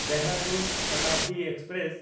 Dehradun Shatabdi express